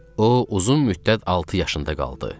O uzun müddət altı yaşında qaldı.